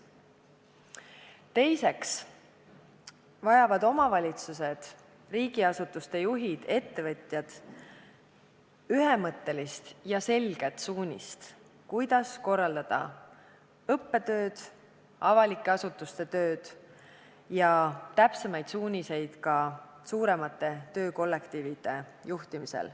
Teiseks vajavad omavalitsused, riigiasutuste juhid, ettevõtjad ühemõttelisi ja selgeid suuniseid, kuidas korraldada õppetööd ja avalike asutuste tööd ning juhtida suuri töökollektiive.